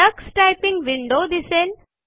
Tux typing window दिसेल